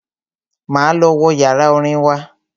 Máa lọ wo yàrá orin wa.